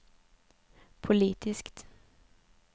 politiskt